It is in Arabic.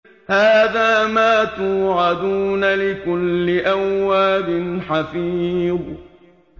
هَٰذَا مَا تُوعَدُونَ لِكُلِّ أَوَّابٍ حَفِيظٍ